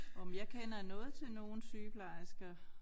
Nåh men jeg kender noget til nogle sygeplejersker